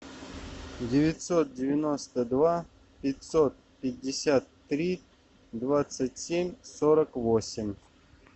девятьсот девяносто два пятьсот пятьдесят три двадцать семь сорок восемь